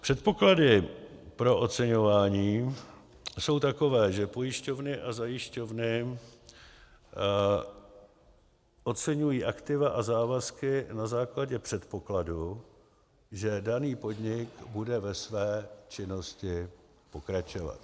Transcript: Předpoklady pro oceňování jsou takové, že pojišťovny a zajišťovny oceňují aktiva a závazky na základě předpokladu, že daný podnik bude ve své činnosti pokračovat.